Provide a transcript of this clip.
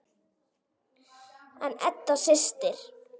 Þín Edda systir.